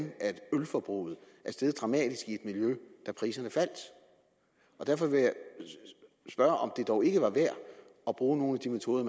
ølforbruget er steget dramatisk i et miljø da priserne faldt og derfor vil jeg spørge om det dog ikke var værd at bruge nogle af de metoder